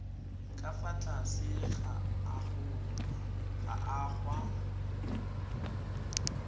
ka fa tlase ga agoa